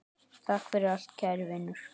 Takk fyrir allt, kæri vinur.